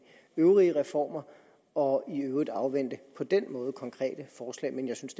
øvrige reformer og i øvrigt afvente på den måde konkrete forslag men jeg synes